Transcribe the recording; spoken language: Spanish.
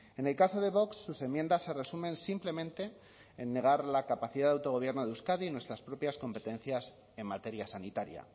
en el caso de vox sus enmiendas se resumen simplemente en negar la capacidad de autogobierno de euskadi en nuestras propias competencias en materia sanitaria